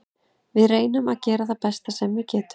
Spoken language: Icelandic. Við reynum að gera það besta sem við getum.